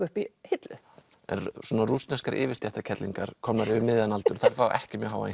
uppi í hillu svona rússneskar komnar yfir miðjan aldur fá ekki mjög háa